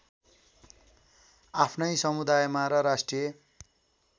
आफ्नै समुदायमा र राष्ट्रिय